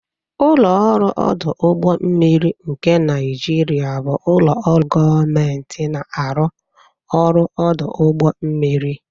Ụlọ ọrụ ọdụ ụgbọ mmiri nke Naijiria bụ ụlọ ọrụ gọọmentị na-arụ ọrụ ọdụ ụgbọ mmiri